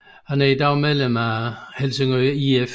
Han er i dag medlem af Helsingør IF